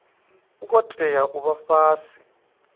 ngo tea u vha fhasi